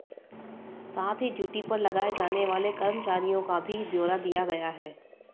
साथ ही ड्यूटी पर लगाए जाने वाले कर्मचारियों का भी ब्योरा दिया गया है